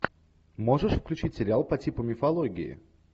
можешь включить сериал по типу мифологии